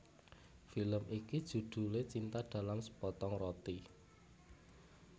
Film iki judhulé Cinta dalam Sepotong Roti